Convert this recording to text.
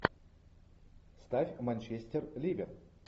ставь манчестер ливер